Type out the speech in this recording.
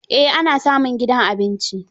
Eh ana samun gidan abinci.